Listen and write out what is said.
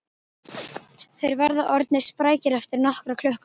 Þeir verða orðnir sprækir eftir nokkra klukkutíma